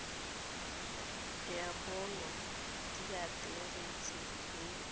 ya bonno diaterese le megala